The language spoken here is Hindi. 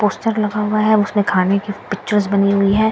पोस्टर लगा हुआ है उसमें खाने की पिक्चर्स बनी हुई है ।